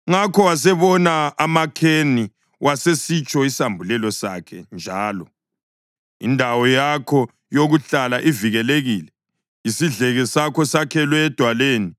Ngakho wasebona amaKheni wasesitsho isambulelo sakhe njalo: “Indawo yakho yokuhlala ivikelekile, isidleke sakho sakhelwe edwaleni;